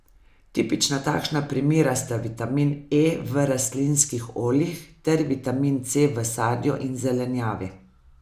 Tipična takšna primera sta vitamin E v rastlinskih oljih ter vitamin C v sadju in zelenjavi.